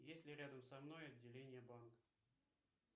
есть ли рядом со мной отделение банка